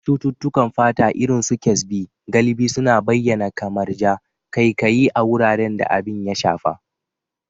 Cututtukan fata, irin su Kyasbi, galibi suna bayyana kamar ja, ƙaiƙayi, a wuraren da abin ya shafa.